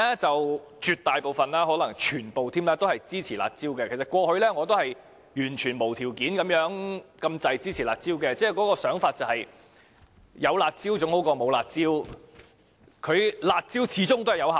絕大部分或甚至可能全部民主派議員均支持"辣招"，過去我差不多是完全無條件地支持"辣招"，認為有總比沒有好，它們始終是有效的......